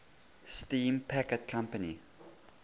steam packet company